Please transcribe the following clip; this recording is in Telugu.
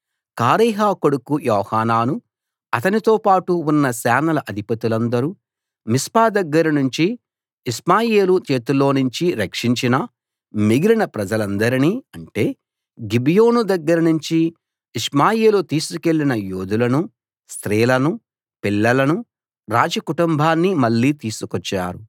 కారేహ కొడుకు యోహానానూ అతనితోపాటు ఉన్న సేనల అధిపతులందరూ మిస్పా దగ్గర నుంచి ఇష్మాయేలు చేతిలో నుంచి రక్షించిన మిగిలిన ప్రజలందరినీ అంటే గిబియోను దగ్గరనుంచి ఇష్మాయేలు తీసుకెళ్ళిన యోధులను స్త్రీలను పిల్లలను రాజకుటుంబాన్ని మళ్ళీ తీసుకొచ్చారు